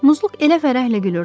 Muzluq elə fərəhlə gülürdü.